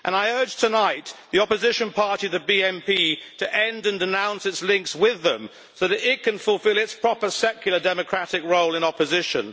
I urge tonight the opposition party, the BMP, to end and denounce its links with them so that it can fulfil its proper secular democratic role in opposition.